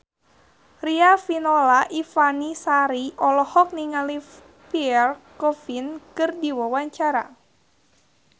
Riafinola Ifani Sari olohok ningali Pierre Coffin keur diwawancara